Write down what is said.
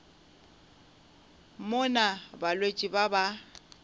mo na balwetši ba ba